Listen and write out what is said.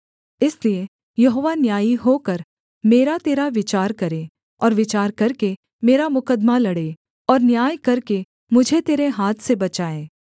इसलिए यहोवा न्यायी होकर मेरा तेरा विचार करे और विचार करके मेरा मुकद्दमा लड़े और न्याय करके मुझे तेरे हाथ से बचाए